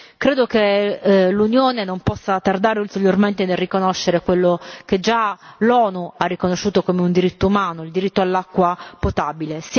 Credo che l'Unione non possa tardare ulteriormente nel riconoscere quello che già l'ONU ha riconosciuto come un diritto umano il diritto all'acqua potabile.